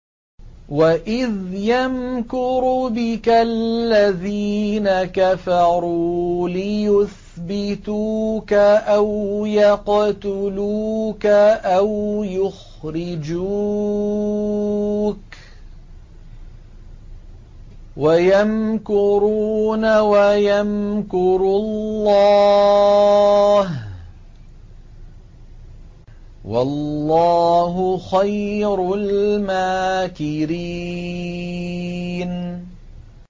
وَإِذْ يَمْكُرُ بِكَ الَّذِينَ كَفَرُوا لِيُثْبِتُوكَ أَوْ يَقْتُلُوكَ أَوْ يُخْرِجُوكَ ۚ وَيَمْكُرُونَ وَيَمْكُرُ اللَّهُ ۖ وَاللَّهُ خَيْرُ الْمَاكِرِينَ